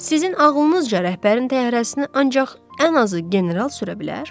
Sizin ağlınızca rəhbərin təyyarəsini ancaq ən azı general sürə bilər?